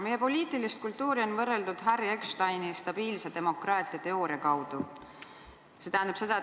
Meie poliitilist kultuuri on võrreldud Harry Ecksteini "Stabiilse demokraatia teooria" abil.